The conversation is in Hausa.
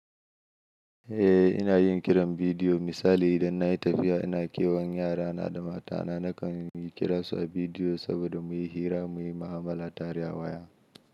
Eh ina yin kiran bidiyo misali idan na yi tafiya ina kiwon yara na da mata na nakan kira su a bidiyo saboda muyi hira muyi mu'amala tare a waya.